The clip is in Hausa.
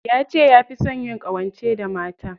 Yace yafi son yin ƙawance da mata.